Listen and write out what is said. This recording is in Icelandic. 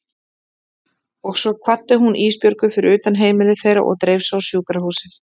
Og svo kvaddi hún Ísbjörgu fyrir utan heimili þeirra og dreif sig á sjúkrahúsið.